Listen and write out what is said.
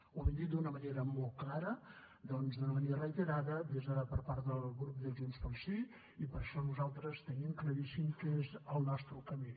ho hem dit d’una manera molt clara doncs d’una manera reiterada per part del grup de junts pel sí i per això nosaltres tenim claríssim quin és el nostre camí